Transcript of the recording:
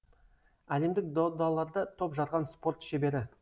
әлемдік додаларда топ жарған спорт шебері